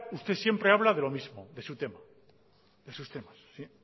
usted siempre habla de lo mismo de su temas de sus temas sí